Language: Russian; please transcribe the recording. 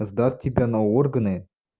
сдаст себя на органы